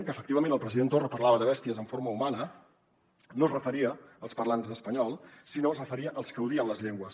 que efectivament el president torra parlava de bèsties en forma humana no es referia als parlants d’espanyol sinó que es referia als que odien les llengües